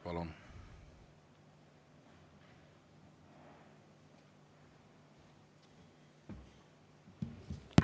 Palun!